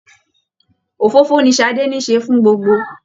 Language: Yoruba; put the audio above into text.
Òfófó ní Sadé nise fún gbogbo.